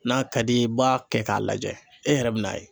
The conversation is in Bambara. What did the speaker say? N'a ka d'i ye i b'a kɛ k'a lajɛ e yɛrɛ bɛ n'a ye.